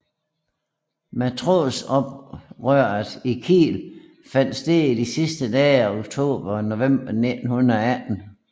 Matrosoprøret i Kiel fandt sted i de sidste dage af oktober og i november 1918